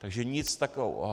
Takže nic takového.